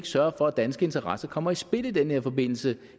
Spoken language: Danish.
sørge for at danske interesser kommer i spil i den her forbindelse